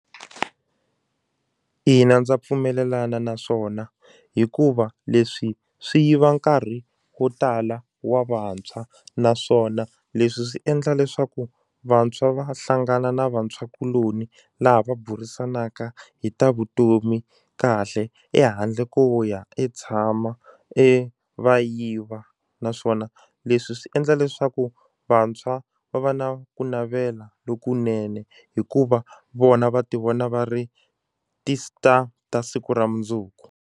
Ina, ndza pfumelelana naswona hikuva leswi swi yiva nkarhi wo tala wa vantshwa naswona leswi swi endla leswaku vantshwa va hlangana na vantshwakuloni laha va burisanaka hi ta vutomi kahle ehandle ko ya e tshama e va yiva naswona leswi swi endla leswaku vantshwa va va na ku navela lokunene hikuva vona va ti vona va ri ti-star ta siku ra mundzuku.